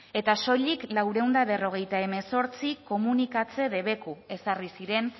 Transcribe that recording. eta soilik laurehun eta berrogeita hemezortzi komunikatze debeku ezarri ziren